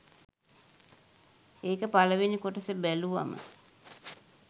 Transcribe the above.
ඒක පළවෙනි කොටස බැලුවම